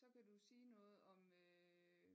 Så kan du sige noget om øh